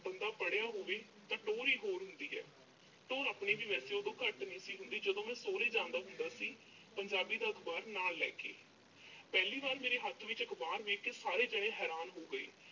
ਬੰਦਾ ਪੜ੍ਹਿਆ ਹੋਵੇ ਤਾਂ ਟੌਹਰ ਹੀ ਹੋਰ ਹੁੰਦੀ ਆ। ਟੌਹਰ ਆਪਣੀ ਵੀ ਵੈਸੇ ਉਦੋਂ ਘੱਟ ਨੀਂ ਸੀ ਹੁੰਦੀ, ਜਦੋਂ ਮੈਂ ਸਹੁਰੇ ਜਾਂਦਾ ਹੁੰਦਾ ਸੀ, ਪੰਜਾਬੀ ਦਾ ਅਖਬਾਰ ਨਾਲ ਲੈ ਕੇ। ਪਹਿਲੀ ਵਾਰ ਮੇਰੇ ਹੱਥ ਵਿੱਚ ਅਖਬਾਰ ਵੇਖ ਕੇ, ਸਾਰੇ ਜਾਣੇ ਹੈਰਾਨ ਹੋ ਗਏ।